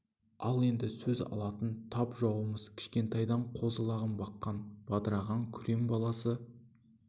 ал енді сөз алатын тап жауымыз кішкентайдан қозы-лағын баққан бадырағы күрең баласы